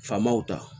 Faamaw ta